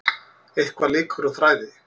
Eitthvað leikur á þræði